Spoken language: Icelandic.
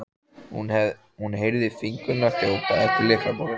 hún heyrði fingurna þjóta eftir lyklaborðinu.